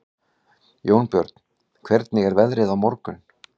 Jónbjörn, hvernig er veðrið á morgun?